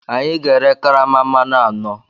Anyị ga-ere karama mmanụ anọ.